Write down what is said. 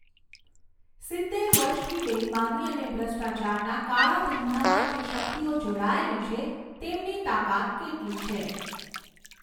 સિત્તેર વર્ષથી બેઇમાની અને ભ્રષ્ટાચારના કાળા ધંધામાં જે શકિતઓ જોડાયેલી છે, તેમની તાકાત કેટલી છે!